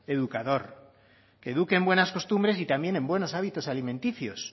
educador que eduque en buenas costumbres y también en buenos hábitos alimenticios